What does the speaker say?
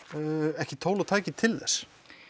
ekki tól og tæki til þess